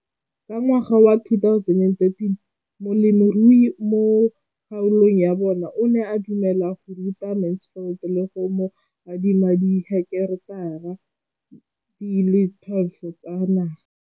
Ka ngwaga wa 2013, molemirui mo kgaolong ya bona o ne a dumela go ruta Mansfield le go mo adima di heketara di le 12 tsa naga.